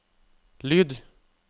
lyd